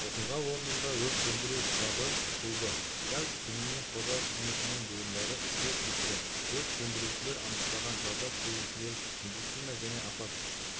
оқиға орнында өрт сөндіру штабы құрылды газ түтінінен қорғау қызметінің буындары іске кірісті өрт сөндірушілер анықтаған зардап шегушілер медицина және апат